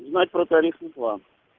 узнать про тарифный план